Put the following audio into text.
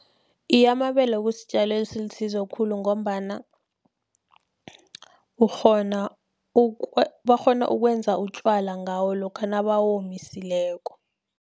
Iye, amabele kusitjalo esilisizo khulu, ngombana bakghona ukwenza utjwala ngawo, lokha nabawomisileko.